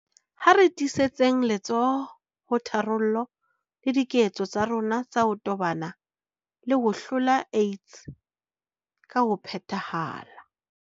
Ha re tiisetseng letsoho ho tharollo le diketso tsa rona tsa ho tobana le ho hlola AIDS ka ho phethahala.